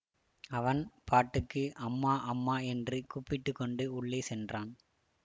அவன் பாட்டுக்கு அம்மா அம்மா என்று கூப்பிட்டு கொண்டு உள்ளே சென்றான்